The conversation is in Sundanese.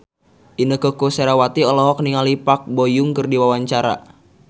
Inneke Koesherawati olohok ningali Park Bo Yung keur diwawancara